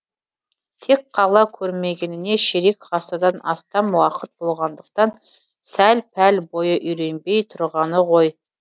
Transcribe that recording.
тек қала көрмегеніне ширек ғасырдан астам уақыт болғандықтан сәл пәл бойы үйренбей тұрғаны ғой